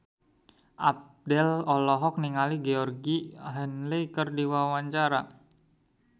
Abdel olohok ningali Georgie Henley keur diwawancara